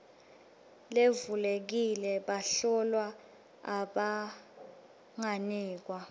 levulekile bahlolwa abanganikwa